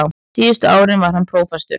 Síðustu árin var hann prófastur.